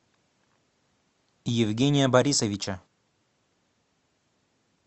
евгения борисовича